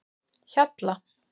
Hjalla